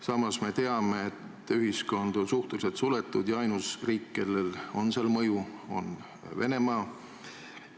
Samas me teame, et ühiskond on suhteliselt suletud ja ainus riik, kellel on seal mõju, on Venemaa.